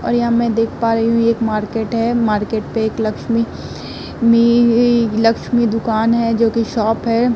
और यहाँ मैं देख पा रही हुं एक मार्किट है मार्केट पे एक लक्ष्मी मिइइइ लक्ष्मी दुकान है जोकि शॉप है।